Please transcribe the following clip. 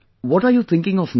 What are you thinking of next